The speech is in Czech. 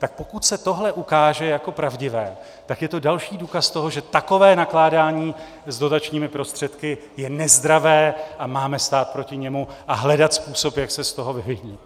Tak pokud se tohle ukáže jako pravdivé, tak je to další důkaz toho, že takové nakládání s dotačními prostředky je nezdravé, a máme stát proti němu a hledat způsob, jak se z toho vyvinit.